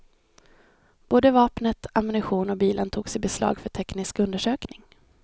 Både vapnet, ammunition och bilen togs i beslag för teknisk undersökning.